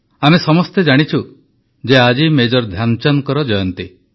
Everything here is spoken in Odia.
ଆମେ ସମସ୍ତେ ଜାଣିଛୁ ଯେ ଆଜି ମେଜର ଧ୍ୟାନଚାନ୍ଦଙ୍କ ଜୟନ୍ତୀ